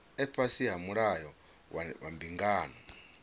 fhasi ha mulayo wa mbingano